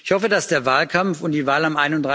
Ich hoffe, dass der Wahlkampf und die Wahl am